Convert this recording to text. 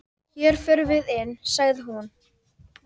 Hér förum við inn, sagði hún.